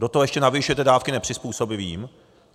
Do toho ještě navyšujete dávky nepřizpůsobivým.